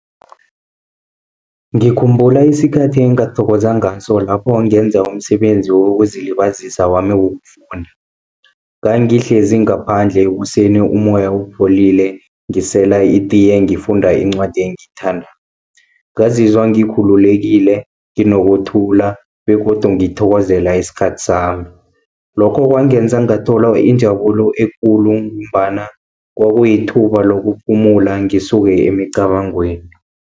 Ngikhumbula isikhathi engathokoza ngaso lapho ngenza umsebenzi wokuzilibazisa wami wokufunda. Ngangihlezi ngaphandle ekuseni umoya upholile, ngisela itiye, ngifunda incwadi engiyithandako. Ngazizwa ngikhululekile, nginokuthula begodu ngithokezela isikhathi sami. Lokho kwangenza ngathola injabulo ekulu, ngombana kwakuyithuba lokuphumula ngisuke emicabangweni.